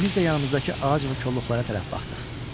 İkimiz də yanımızdakı ağac və kolluqlara tərəf baxdıq.